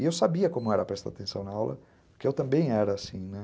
E eu sabia como era prestar atenção na aula, porque eu também era assim.